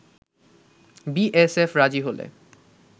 BSF রাজি হলে